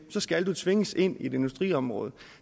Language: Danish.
så skal du tvinges ind i et industriområde